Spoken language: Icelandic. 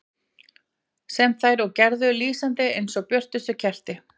Sem þær og gerðu, lýsandi eins og björtust kerti.